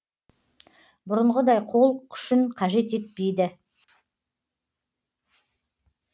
бұрынғыдай қол күшін қажет етпейді